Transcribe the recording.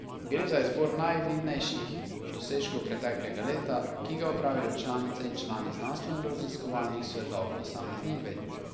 Gre za izbor najvidnejših dosežkov preteklega leta, ki ga opravijo članice in člani znanstvenoraziskovalnih svetov posameznih ved.